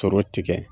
Sɔrɔ tigɛ